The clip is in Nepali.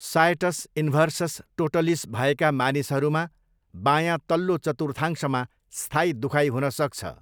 सायटस इन्भर्सस टोटलिस भएका मानिसहरूमा बायाँ तल्लो चतुर्थांशमा स्थायी दुखाइ हुनसक्छ।